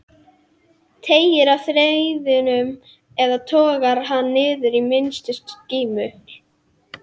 Teygir á þræðinum eða togar hann niður í minnstu skímu?